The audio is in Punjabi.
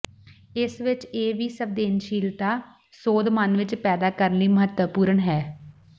ਇਸ ਵਿਚ ਇਹ ਵੀ ਸੰਵੇਦਨਸ਼ੀਲਤਾ ਸੋਧ ਮਨ ਵਿਚ ਪੈਦਾ ਕਰਨ ਲਈ ਮਹੱਤਵਪੂਰਨ ਹੈ